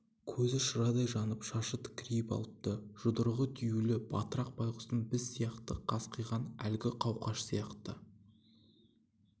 көзі шырадай жанып шашы тікірейіп алыпты жұдырығы түюлі батырақ байғұстың біз сияқты қасқиған әлгі қауқаш сияқты